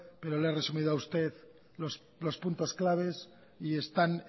pero le he resumido a usted los puntos claves y están